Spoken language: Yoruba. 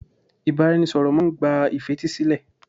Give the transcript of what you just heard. Ìbáraẹnisọ̀rọ̀ máà ń gba ìfetísílẹ̀.